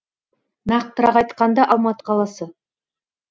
нақтырақ айтқанда алматы қаласы